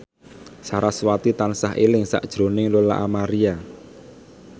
sarasvati tansah eling sakjroning Lola Amaria